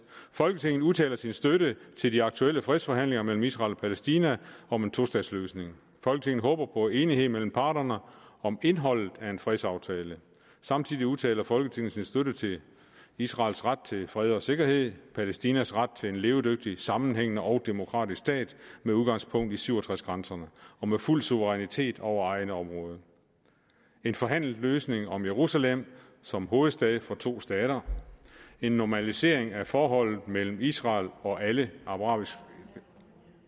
folketinget udtaler sin støtte til de aktuelle fredsforhandlinger mellem israel og palæstina om en tostatsløsning folketinget håber på enighed mellem parterne om indholdet af en fredsaftale samtidig udtaler folketinget sin støtte til israels ret til fred og sikkerhed palæstinas ret til en levedygtig sammenhængende og demokratisk stat med udgangspunkt i nitten syv og tres grænserne og med fuld suverænitet over eget område en forhandlet løsning om jerusalem som hovedstad for to stater en normalisering af forholdet mellem israel og alle